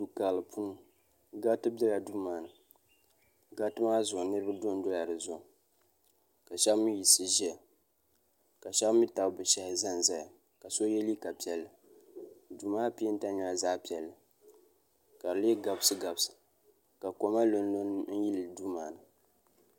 Du'karili puuni gariti biɛla duu maani gariti maa zuɣu niriba dondo la dizuɣu ka sheba mee yiɣisi ʒɛya ka sheba mee tabi bɛ shehi zanzaya ka so ye liiga piɛlli duu maa penta nyɛla zaɣa piɛlli ka di lee gabsi gabsi.